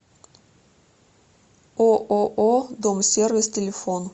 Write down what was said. ооо домсервис телефон